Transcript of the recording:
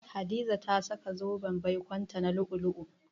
Hadiza ta saka zoben baikonta 'na lu'u-lu'u.